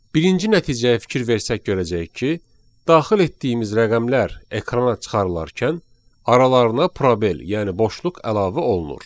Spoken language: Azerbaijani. Birinci nəticəyə fikir versək görəcəyik ki, daxil etdiyimiz rəqəmlər ekrana çıxarılarkən aralarına probel, yəni boşluq əlavə olunur.